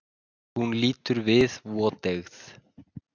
Hún lítur við, voteygð.